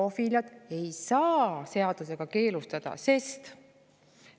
Zoofiiliat ei saa seadusega keelustada, sest …